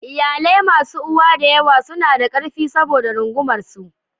Iyalai masu uwa da yawa suna da ƙarfi saboda rungumar su.